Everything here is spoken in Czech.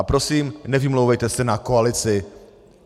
A prosím, nevymlouvejte se na koalici.